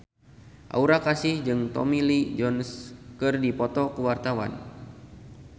Aura Kasih jeung Tommy Lee Jones keur dipoto ku wartawan